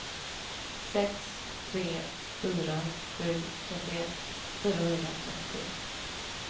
sex tre fyra sju trettioett fyrahundratrettiosju